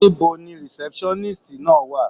Níbo ni rìsẹ́pṣọ́nístì náà wà.